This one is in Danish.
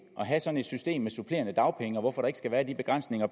at have sådan et system med supplerende dagpenge og hvorfor der ikke skal være de begrænsninger